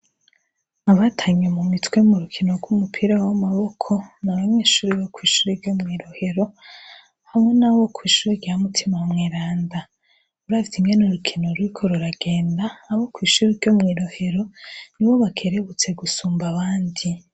Abatanye mumitwe m'urukino gw' umupira w' amaboko ni abanyeshure bo shure ryo mwi rohero hamwe n' abo kwishure rya mutima mweranda uravye ingene urukino ruriko ruragenda abo kwishure ryo mwi rohero nibo bakerebutse gusumba abandi.